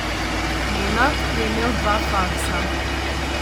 Nenad je imel dva faksa.